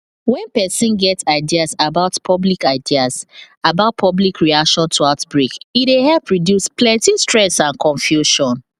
when person get ideas about public ideas about public reaction to outbreak e dey help reduce plenty stress and confusion